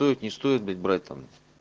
стоит не стоит блядь брать там